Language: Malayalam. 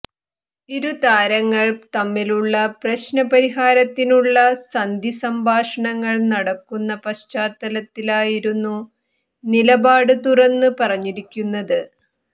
ഇരു താരങ്ങൾ തമ്മിലുള്ള പ്രശ്ന പരിഹാരത്തിനുള്ള സന്ധി സംഭഷണങ്ങൾ നടക്കുന്ന പശ്ചാത്തലത്തിലായിരുന്നു നിലപാട് തുറന്ന് പറഞ്ഞിരിക്കുന്നത്